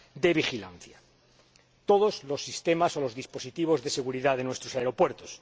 de vigilancia, todos los sistemas o los dispositivos de seguridad de nuestros aeropuertos.